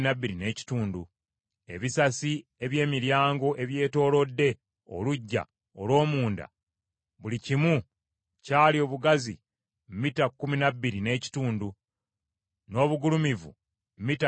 Ebisasi eby’emiryango ebyetoolodde oluggya olw’omunda buli kimu kyali obugazi mita kkumi na bbiri n’ekitundu, n’obugulumivu mita bbiri n’ekitundu.